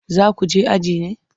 Za ku je aji ne?